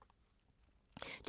DR2